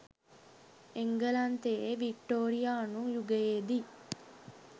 එංගලන්තයේ වික්ටෝරියානු යුගයේදී